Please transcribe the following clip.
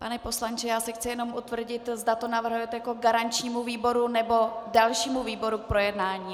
Pane poslanče, já se chci jenom utvrdit, zda to navrhujete jako garančnímu výboru, nebo dalšímu výboru k projednání.